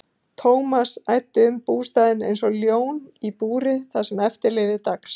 Thomas æddi um bústaðinn einsog ljón í búri það sem eftir lifði dags.